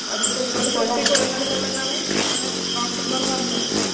അത് പ്രതിരോധ ശക്തി കുറഞ്ഞത് കൊണ്ടെന്നാണ് അന്ന് ഡോക്ടർമാർ പറഞ്ഞത്